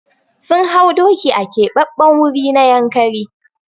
Sun hau doki a Keɓaɓɓen wuri na Yankari.